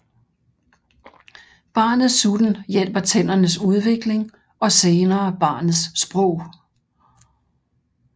Barnets sutten hjælper tændernes udvikling og senere barnets sprog